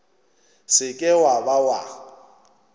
se ke wa ba wa